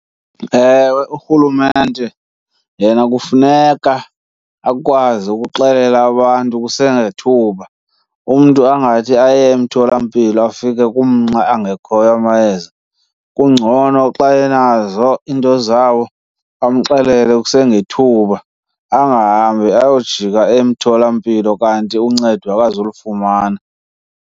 Ewe, urhulumente yena kufuneka akwazi ukuxelela abantu kusengethuba. Umntu angathi aye emtholampilo afike angekhoyo amayeza. Kungcono xa enazo into zawo amxelele kusengethuba, angahambi ayojika emtholampilo kanti uncedo akazulufumana.